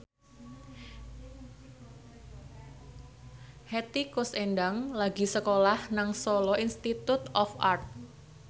Hetty Koes Endang lagi sekolah nang Solo Institute of Art